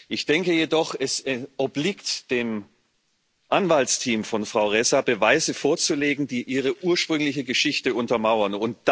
Ich denke jedoch, es obliegt dem Anwaltsteam von Frau Ressa, Beweise vorzulegen, die ihre ursprüngliche Geschichte untermauern.